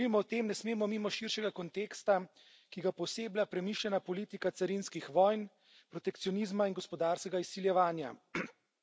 Ko govorimo o tem, ne smemo mimo širšega konteksta, ki ga pooseblja premišljena politika carinskih vojn, protekcionizma in gospodarskega izsiljevanja.